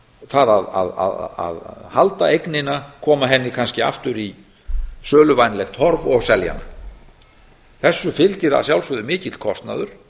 það að halda eignina koma henni kannski aftur í söluvænlegt horf og selja hana þessu fylgir að sjálfsögðu mikill kostnaður